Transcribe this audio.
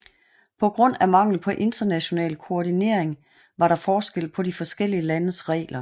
På grund af mangel på international koordinering var der forskel på de forskellige landes regler